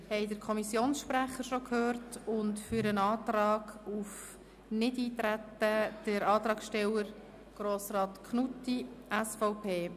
Wir haben den Kommissionssprecher schon gehört, und für den Antrag auf Nichteintreten, den Antragssteller Grossrat Knutti, SVP.